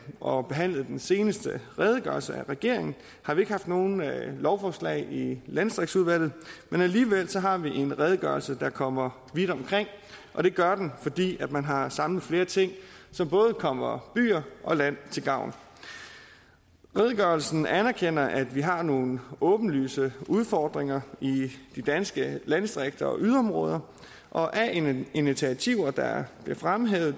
og behandlede den seneste redegørelse af regeringen har vi ikke haft nogen lovforslag i landdistriktsudvalget men alligevel har vi en redegørelse der kommer vidt omkring og det gør den fordi man har samlet flere ting som både kommer byer og land til gavn redegørelsen anerkender at vi har nogle åbenlyse udfordringer i de danske landdistrikter og yderområder og af initiativer der bliver fremhævet